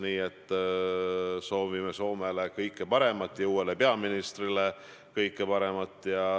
Nii et soovime Soomele kõike paremat ja uuele peaministrile kõike paremat.